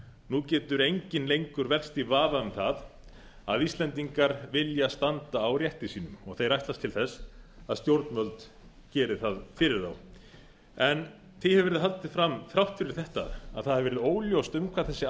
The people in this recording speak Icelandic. nú getur enginn lengur velkst í vafa um það að íslendingar vilja standa á rétti sínum og þeir ætlast til þess að stjórnvöld geri það fyrir þá því hefur verið haldið fram þrátt fyrir þetta að það hafi verið óljóst um hvað þessi